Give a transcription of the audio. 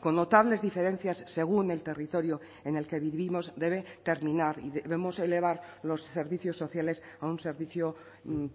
con notables diferencias según el territorio en el que vivimos debe terminar y debemos elevar los servicios sociales a un servicio